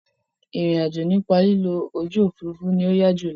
Ìrìn àjò nípa lílo ojú òfurufú ni ó yá jù lọ.